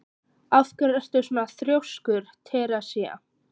Af hverju ertu svona þrjóskur, Teresía?